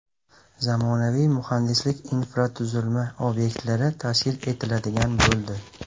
Zamonaviy muhandislik infratuzilma obyektlari tashkil etiladigan bo‘ldi.